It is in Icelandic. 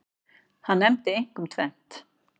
Hann nefndi einkum tvennt.